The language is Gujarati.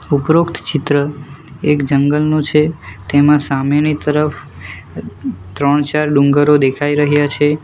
ઉપરોક્ત ચિત્ર એક જંગલનો છે તેમાં સામેની તરફ ત્રણ ચાર ડુંગરો દેખાઈ રહ્યા છે.